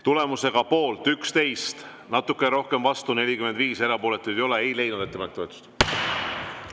Tulemusega poolt 11, natukene rohkem, 45 vastu, erapooletuid ei ole, ei leidnud ettepanek toetust.